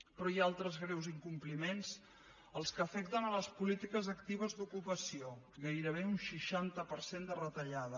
però hi ha altres greus incompliments els que afecten les polítiques actives d’ocupació gairebé un seixanta per cent de retallada